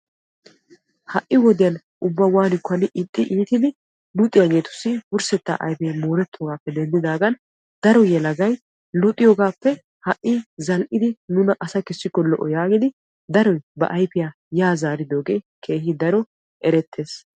ha'i wodiyan ubba waanikko hani ixxi iittidi luxiyaageetussi wursseta ayfee moorettoogappe denddidaagan daro yelagay luxiyoogappe ha'i zal''idi nuna asa kessikko lo''o yaagidi daroy ba ayfiya yaa zaaridooge erettees.